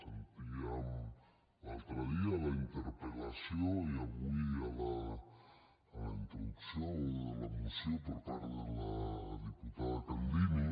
sentíem l’altre dia a la interpel·lació i avui a la introducció de la moció per part de la diputada candini